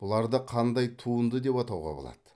бұларды қандай туынды деп атауға болады